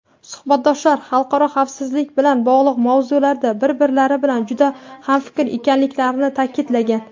suhbatdoshlar "xalqaro xavfsizlik bilan bog‘liq mavzularda bir-birlari bilan juda hamfikr ekanliklarini" ta’kidlagan.